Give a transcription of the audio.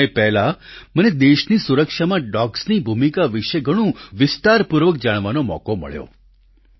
થોડા સમય પહેલાં મને દેશની સુરક્ષામાં ડોગ્સ ની ભૂમિકા વિશે ઘણું વિસ્તારપૂર્વક જાણવાનો મોકો મળ્યો